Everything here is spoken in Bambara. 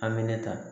An bɛ ne ta